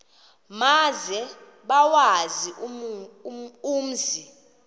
maze bawazi umzi